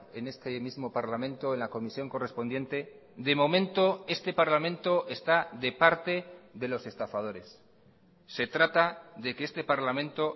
en este mismo parlamento en la comisión correspondiente de momento este parlamento está de parte de los estafadores se trata de que este parlamento